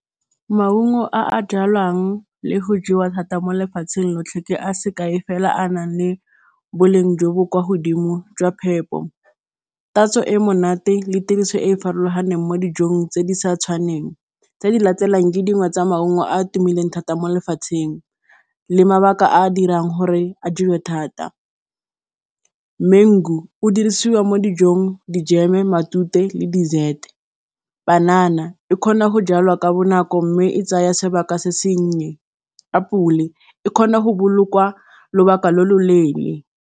Maungo a a jalwang le go jewa thata mo lefatsheng lotlhe ke a sekae fela, a a nang le boleng jo bo kwa godimo jwa phepo, tatso e e monate le tiriso e e farologaneng mo dijong tse di sa tshwaneng. Tse di latelang ke dingwe tsa maungo a a tumileng thata mo lefatsheng le mabaka a a dirang gore a duelwe thata, mengu o dirisiwa mo dijong, dijeme, matute le dessert, banana e kgona go jalwa ka bonako mme e tsaya sebaka se sennye, apole yone e kgona go bolokwa lobaka lo lo leele.